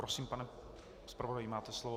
Prosím, pane zpravodaji, máte slovo.